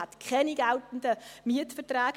Man hätte keine geltenden Mietverträge.